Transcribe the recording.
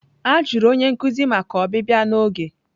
A jụrụ onye nkuzi maka ọbịbịa n'oge.